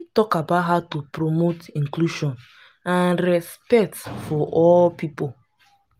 talk about how to promote inclusion and respect for all people.